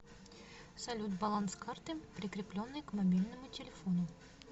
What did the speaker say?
салют баланс карты прикрепленной к мобильному телефону